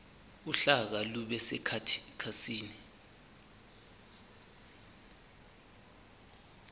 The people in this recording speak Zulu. uhlaka lube sekhasini